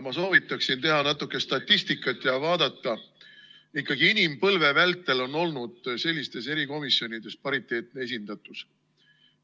Ma soovitaksin teha natuke statistikat ja vaadata, et ikkagi inimpõlve vältel on olnud sellistes erikomisjonides pariteetne esindatus.